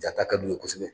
Jata ka d'u ye kosɛbɛ